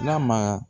N'a ma